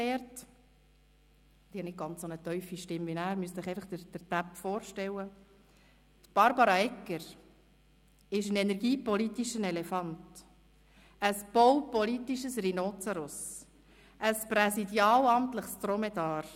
Darin schreibt er: «Barbara Egger ist ein energiepolitischer Elefant, ein baupolitisches Rhinozeros, ein präsidialamtliches Dromedar;